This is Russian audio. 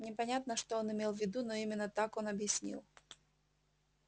непонятно что он имел в виду но именно так он объяснил